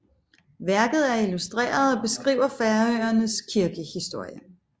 Værket er illustreret og beskriver Færøernes kirkehistorie